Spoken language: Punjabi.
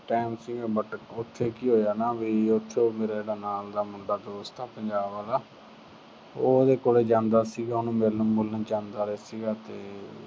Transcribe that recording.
time ਸੀ but ਉਥੇ ਕੀ ਹੋਇਆ ਨਾ ਵੀ ਉਥੋਂ ਮੇਰਾ ਜਿਹੜਾ ਨਾਲ ਦਾ ਮੁੰਡਾ ਦੋਸਤ ਆ ਪੰਜਾਬ ਆਲਾ। ਉਹ ਉਹਦੇ ਕੋਲੇ ਜਾਂਦਾ ਸੀਗਾ, ਉਹਨੂੰ ਮਿਲਣ ਮੁਲਣ ਜਾਂਦਾ ਸੀਗਾ ਤੇ